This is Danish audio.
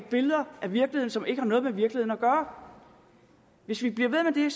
billeder af virkeligheden som ikke har noget med virkeligheden at gøre hvis vi bliver ved med det